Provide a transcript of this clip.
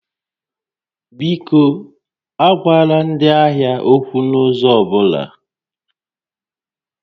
Biko, agwala ndị ahịa okwu n'ụzọ ọ bụla!